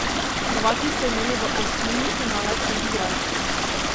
Hrvati so imeli v osmini finala tri igralce.